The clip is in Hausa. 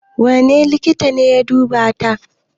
Wane likita ne ya duba ta?